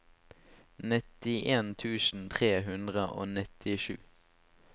nittien tusen tre hundre og nittisju